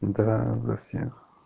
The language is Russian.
да за всех